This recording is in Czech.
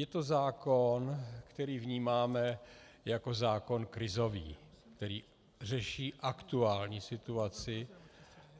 Je to zákon, který vnímáme jako zákon krizový, který řeší aktuální situaci